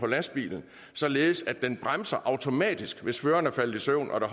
lastbilen således at den bremser automatisk hvis føreren er faldet i søvn og der